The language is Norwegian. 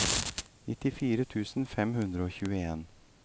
nittitre tusen fem hundre og tjueen